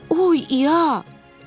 Oy, İa!